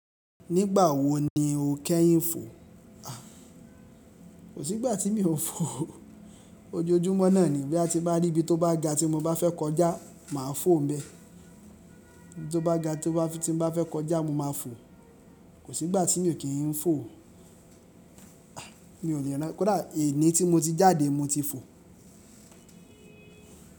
Nígbà wo ni o kẹ́yìn fò? Kò sí ìgbà tí mi ò ń fò. Ojoojúmọ́ náà ni bí a ti bá rí ibi tó bá ga tí mo bá fẹ́ kọjá, màá fò n bẹ́ẹ̀. Ibi tó bá ga tí mo bá fẹ́ kọjá, mo máa fò. Kò sí ìgbà tí mi ò kí ń fò. Mi ò le rán, kódà ení tí mo ti jáde mo ti fò.